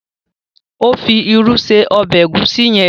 Ó fi irú ṣe ọbẹ Egusi yen.